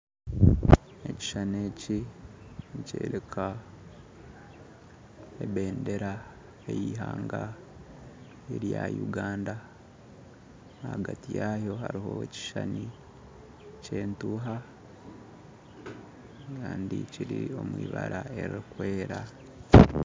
Ekishushani eki nikyoreka ebendera ey'ihanga erya Uganda ahagati yaayo hariho ekishuushani ky'entuuha kandi kiri omu ibara ririkwera